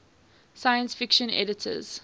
science fiction editors